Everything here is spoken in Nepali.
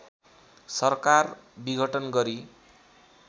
सरकार विघटन गरी